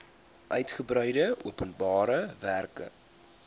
uigebreide openbare werke